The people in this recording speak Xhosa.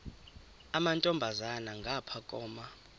amantombazana ngapha koma